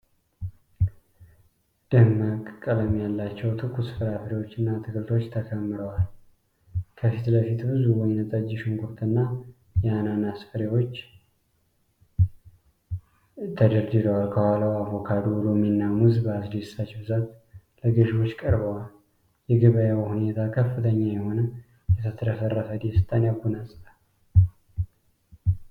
ደማቅ ቀለም ያላቸው ትኩስ ፍራፍሬዎችና አትክልቶች ተከምረዋል። ከፊት ለፊት ብዙ ወይን ጠጅ ሽንኩርትና የአናናስ ፍሬዎች ተደርድረዋል። ከኋላቸው አቮካዶ፣ ሎሚና ሙዝ በአስደሳች ብዛት ለገዢዎች ቀርበዋል። የገበያው ሁኔታ ከፍተኛ የሆነ የተትረፈረፈ ደስታን ያጎናፅፋል።